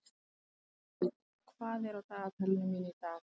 Skuld, hvað er á dagatalinu mínu í dag?